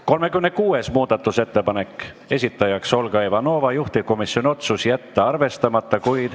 36. muudatusettepaneku esitaja on Olga Ivanova, juhtivkomisjoni otsus: jätta arvestamata.